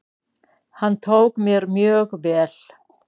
Hann tók mér mjög vel.